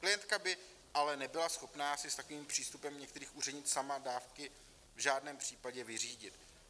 Klientka by ale nebyla schopná si s takovým přístupem některých úředníků sama dávky v žádném případě vyřídit.